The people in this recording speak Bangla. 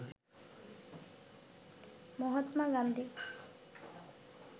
মহাত্মা গান্ধী